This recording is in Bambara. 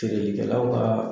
Feerelikɛlawka